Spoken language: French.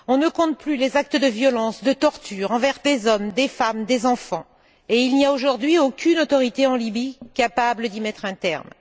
On ne compte plus les actes de violence, de torture envers des hommes, des femmes, des enfants, et il n'y a aujourd'hui aucune autorité en Libye capable d'y mettre un terme.